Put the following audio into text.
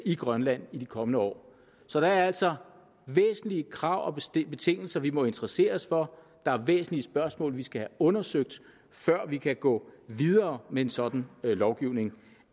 i grønland i de kommende år så der er altså væsentlige krav og betingelser vi må interessere os for der er væsentlige spørgsmål vi skal have undersøgt før vi kan gå videre med en sådan lovgivning